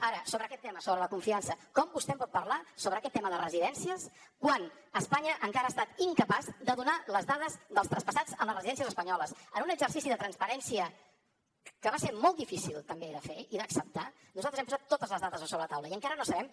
ara sobre aquest tema sobre la confiança com vostè em pot parlar sobre aquest tema de residències quan espanya encara ha estat incapaç de donar les dades dels traspassats a les residències espanyoles en un exercici de transparència que va ser molt difícil també de fer i d’acceptar nosaltres hem posat totes les dades sobre la taula i encara no sabem